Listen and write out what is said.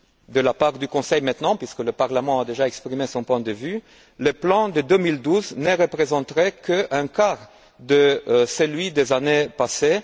du côté du Conseil dès maintenant, puisque le Parlement a déjà exprimé son point de vue, le plan de 2012 ne représenterait qu'un quart de celui des années passées.